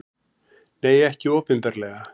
Nei, ekki opinberlega.